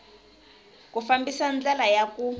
ku fambisa ndlela ya ku